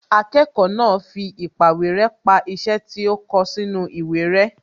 Akẹ́kọ̀ọ́ náà fi īpàwéré pa iṣẹ́ tí ó kọ sínú ìwé rẹ́